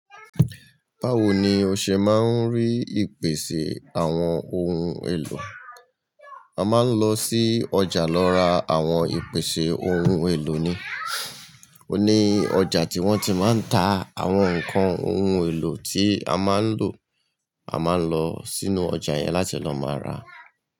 Báwo ni o ṣe máa ń rí ìpèsè àwọn ohun èlò? A máa ń lọ sí ọjà lọ ra àwọn ìpèsè ohun èlò ni. O ní ọjà tí wọ́n ti máa ń ta àwọn ǹkan ohun èlò tí a máa ń lò, a máa ń lọ sínú ọjà yẹn láti lọ máa ra.